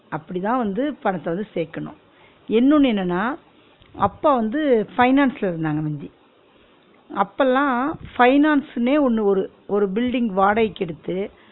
அப்டிதான் வந்து பணத்த வந்து சேக்கனும் இன்னொன்னு என்னனா அப்பம் வந்து finance ல இருந்தாங்க முந்தி அப்பலாம் finance னே ஒன்னு ஒரு ஒரு building வாடகிக்கு எடுத்து